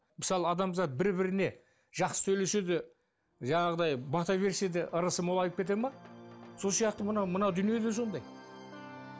мысалы адамзат бір біріне жақсы сөйлесе де жаңағыдай бата берсе де ырысы молайып кете ме сол сияқты мынау мынау дүние де сондай